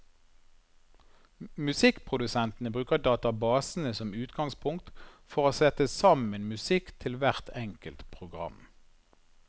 Musikkprodusentene bruker databasene som utgangspunkt, for å sette sammen musikk til hvert enkelt program.